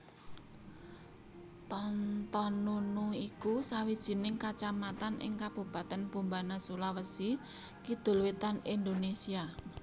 Tontonunu iku sawijining kacamatan ing Kabupatèn Bombana Sulawesi Kidul wétan Indonésia